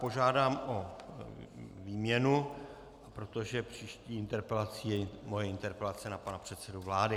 Požádám o výměnu, protože příští interpelací je moje interpelace na pana předsedu vlády.